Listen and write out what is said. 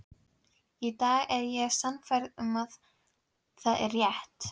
Í dag er ég sannfærð um að það er rétt.